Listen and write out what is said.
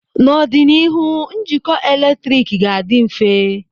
N'ọdịnihu, njikọ eletrik ga-adị mfe.